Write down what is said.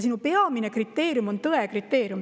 Peamine kriteerium on tõe kriteerium.